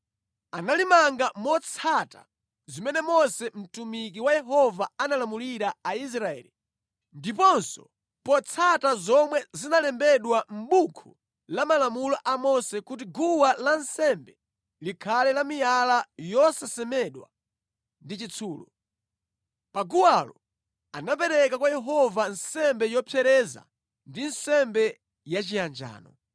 Analimanga motsata zimene Mose mtumiki wa Yehova analamulira Aisraeli, ndiponso potsata zomwe zinalembedwa mʼbuku la malamulo a Mose kuti guwa lansembe likhale la miyala yosasemedwa ndi chitsulo. Pa guwalo anapereka kwa Yehova nsembe yopsereza ndi nsembe yachiyanjano.